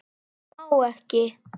Má ekki.